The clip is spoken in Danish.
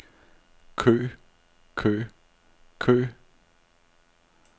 kø kø kø